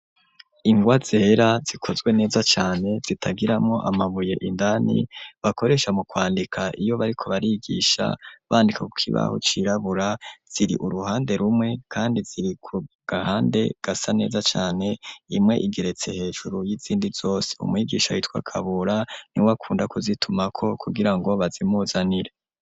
Ingwa zera zikozwe neza cane zitagiramwo amabuye indani bakoresha mu kwandika iyo bariko barigisha bandika kukibaho cirabura ziri uruhande rumwe kandi ziri ku gahande gasa neza cane imwe igeretse hejuru y'izindi zose umwigisha yitwa kabura niwe akunda kuzitumako kugirango bazimuzanire.